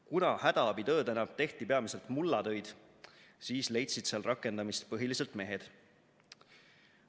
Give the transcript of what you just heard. Kuna hädaabitöödena tehti peamiselt mullatöid, siis leidsid seal rakendamist põhiliselt mehed.